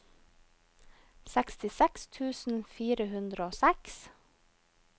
sekstiseks tusen fire hundre og seks